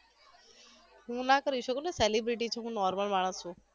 હું ના કરી શકુને celebrity છુ હું normal માણસ છુ